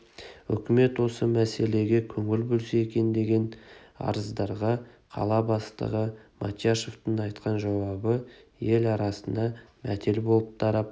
өкімет осы мәселеге көңіл бөлсе екен деген арыздарға қала бастығы мотяшевтің айтқан жауабы ел арасына мәтел болып тарап